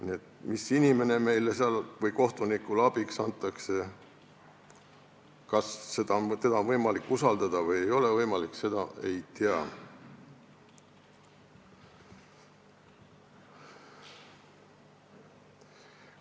Nii et mis inimene seal kohtunikule abiks antakse, kas teda on võimalik usaldada või ei ole võimalik, seda ei tea.